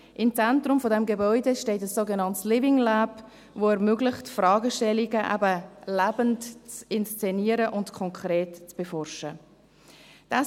Im Zentrum dieses Gebäudes steht ein sogenanntes Living Lab, welches Fragestellungen lebend zu inszenieren und konkret zu beforschen ermöglicht.